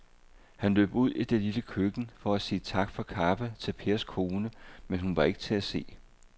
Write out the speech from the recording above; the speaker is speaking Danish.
Han løb ud i det lille køkken for at sige tak for kaffe til Pers kone, men hun var ikke til at se.